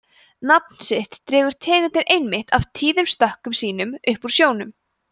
nafn sitt dregur tegundin einmitt af tíðum stökkum sínum upp úr sjónum